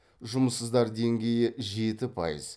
жұмыссыздар деңгейі жеті пайыз